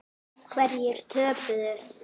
Hverjir töpuðu?